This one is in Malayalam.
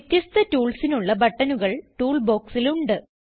വ്യത്യസ്ഥ toolsനുള്ള ബട്ടണുകൾ Toolboxൽ ഉണ്ട്